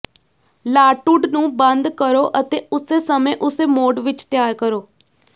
ਲਾਟੂਡ ਨੂੰ ਬੰਦ ਕਰੋ ਅਤੇ ਉਸੇ ਸਮੇਂ ਉਸੇ ਮੋਡ ਵਿੱਚ ਤਿਆਰ ਕਰੋ